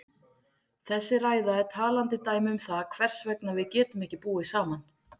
Þessi ræða er talandi dæmi um það hvers vegna við getum ekki búið saman.